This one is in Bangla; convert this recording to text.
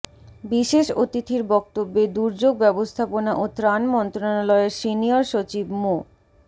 বিশেষ অতিথির বক্তব্যে দুর্যোগ ব্যবস্থাপনা ও ত্রাণ মন্ত্রণালয়ের সিনিয়র সচিব মো